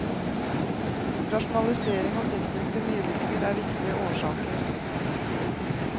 Rasjonalisering og tekniske nyvinninger er viktige årsaker.